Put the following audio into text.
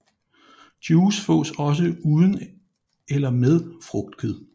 Juice fås også uden eller med frugtkød